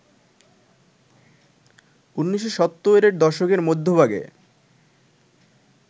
১৯৭০ এর দশকের মধ্যভাগে